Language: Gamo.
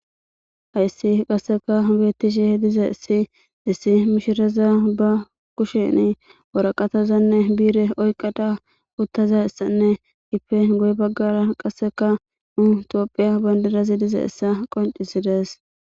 hayssi qasseka beettishi diza issi issi mishiraza ba kusheni woraqatazanne biire oyqada uttaza issanne ipe goy baggara qasseka nutoophiya bandirazi diza issa qoncisidees